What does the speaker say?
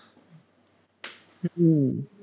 হম